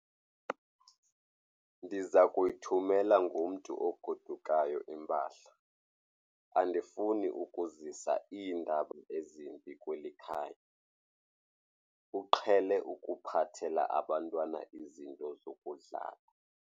Ndiza kuyithumela ngomntu ogodukayo impahla. Andifuni ukuzisa iindaba ezimbi kweli khaya, uqhele ukuphathela abantwana izinto zokudlala.